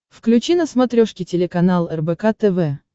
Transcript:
включи на смотрешке телеканал рбк тв